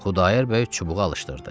Xudayar bəy çubuğu alışdırdı.